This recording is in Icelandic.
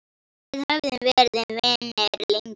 Við höfum verið vinir lengi.